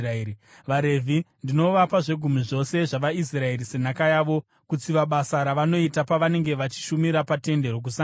“VaRevhi ndinovapa zvegumi zvose zvavaIsraeri senhaka yavo kutsiva basa ravanoita pavanenge vachishumira paTende Rokusangana.